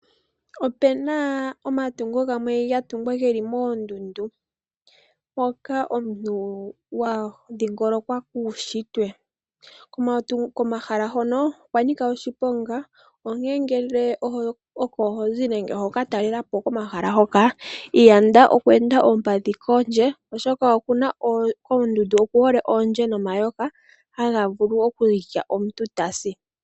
Opu na omatungo gamwe ga tungwa ge li moondundu hoka omuntu wa dhingolokwa kuunshitwe. Komahala hono okwa nika oshiponga, onkene ngele oko ho zi nenge hoka talela po komahala hoka yanda okuenda oompandhi kombanda, oshoka koondundu ohaku kala oondje nomayoka haga vulu okulya omuntu e ta si.